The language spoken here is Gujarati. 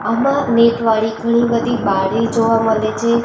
આમાં નેટ વાળી ઘણી બધી બાળી જોવા મળે છે.